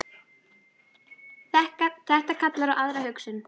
Þetta kallar á aðra hugsun.